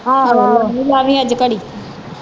ਆਹੋ ਲਾਵੀ ਅੱਜ ਘੜੀ।